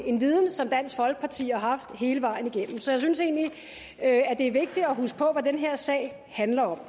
en viden som dansk folkeparti har haft hele vejen igennem så jeg synes egentlig at det er vigtigt at huske på hvad den her sag handler om